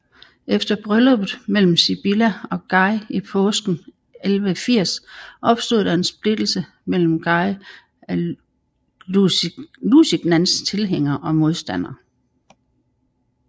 Efter brylluppet mellem Sibylla og Guy i påsken 1180 opstod der en splittelse mellem Guy af Lusignans tilhængere og modstandere